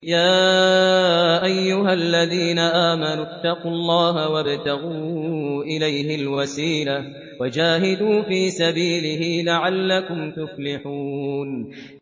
يَا أَيُّهَا الَّذِينَ آمَنُوا اتَّقُوا اللَّهَ وَابْتَغُوا إِلَيْهِ الْوَسِيلَةَ وَجَاهِدُوا فِي سَبِيلِهِ لَعَلَّكُمْ تُفْلِحُونَ